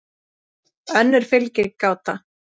önnur fylgir gáta